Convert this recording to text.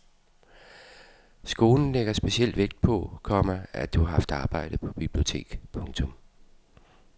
Skolen lægger speciel vægt på, komma at du har haft arbejde på bibliotek. punktum